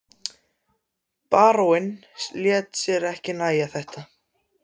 Baróninn lét sér ekki nægja þetta.